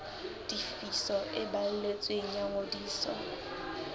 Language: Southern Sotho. tefiso e balletsweng ya ngodiso